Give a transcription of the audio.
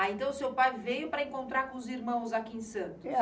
Ah, então seu pai veio para encontrar com os irmãos aqui em Santos?